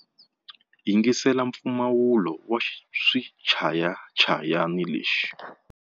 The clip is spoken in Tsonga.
Yingisela mpfumawulo wa xichayachayani lexi.